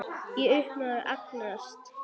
Í uppnámi og angist.